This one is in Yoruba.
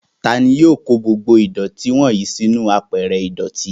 Tani yóò kó gbogbo ìdọ̀tí wọ́nyìí sínú àpẹrẹ ìdọ̀tí?